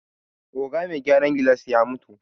Oga me gyaran gilas ya mutu